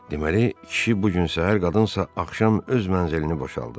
Deməli, kişi bu gün səhər, qadınsa axşam öz məzilini boşaldıb.